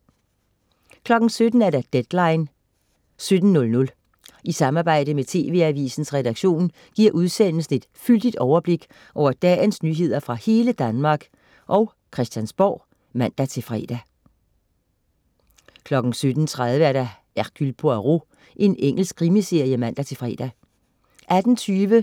17.00 Deadline 17:00. I samarbejde med TV-AVISENS redaktion giver udsendelsen et fyldigt overblik over dagens nyheder fra hele Danmark og Christiansborg (man-fre) 17.30 Hercule Poirot. Engelsk krimiserie (man-fre)